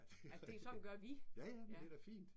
Altså det sådan gør vi ja